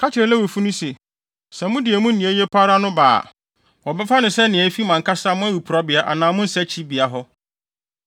“Ka kyerɛ Lewifo no se: ‘Sɛ mode emu nea eye pa ara no ba a, wɔbɛfa no sɛ nea efi mo ankasa mo awiporowbea anaa mo nsakyibea hɔ.